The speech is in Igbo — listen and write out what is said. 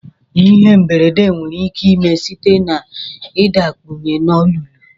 Ihe mberede nwere ike ime site na idakpunye na olulu.